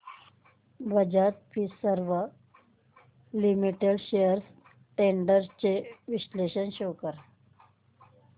Bajaj Finserv limited shares trends चे विश्लेषण show कर